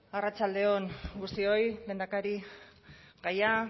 arratsalde on guztioi lehendakarigaia